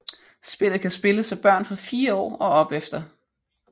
Spillet kan spilles af børn fra 4 år og opefter